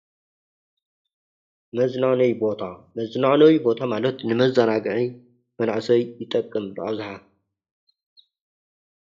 መዝናነይ ቦታ ፤መዝናነይ ቦታ ማለት ንመዘናግዒ መናእሰይ ዝጠቅም በኣብዝሓ።